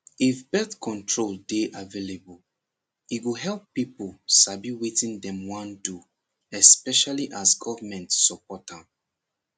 if birth control dey available e go help people sabi wetin dem wan do especially as government support am